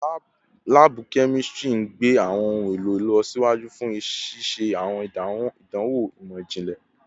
Laabu kemistri n gbe awọn ohun elo ilọsiwaju fun ṣiṣe awọn idanwo imọ-jinlẹ